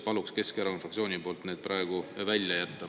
Palun Keskerakonna fraktsiooni nimel need praegu välja jätta.